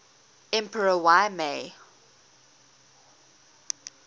emperor y mei